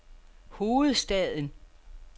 hovedstaden